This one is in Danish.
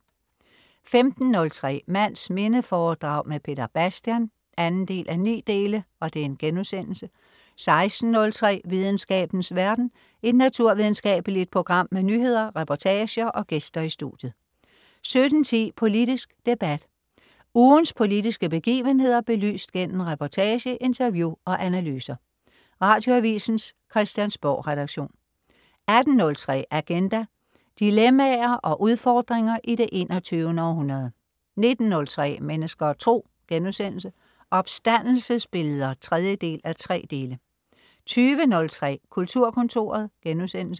15.03 Mands minde foredrag med Peter Bastian 2:9* 16.03 Videnskabens verden. Et naturvidenskabeligt program med nyheder, reportager og gæster i studiet 17.10 Politisk debat. Ugens politiske begivenheder belyst gennem reportage, interview og analyser. Radioavisens Christiansborgredaktion 18.03 Agenda. Dilemmaer og udfordringer i det 21. århundrede 19.03 Mennesker og Tro.* Opstandelsesbilleder 3:3 20.03 Kulturkontoret*